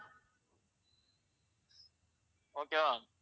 okay வா.